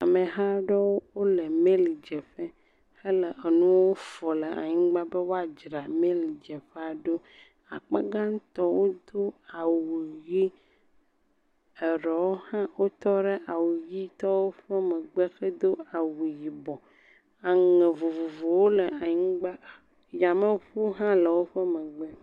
Ameha aɖewo le meli dze ƒe he le enuwo fɔm le anyigba be woadzra meli dzeƒea ɖo. Akpa gã tɔwo ɖo awu ɣi, aɖewo hã tɔ ɖe awu ɣi tɔwo ƒe megbe hedo awu yibɔ. Aŋɛ vovovowo le anyigba. Yameʋu hã le eme.